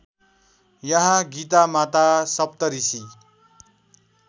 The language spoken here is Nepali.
यहाँ गीतामाता सप्तऋषि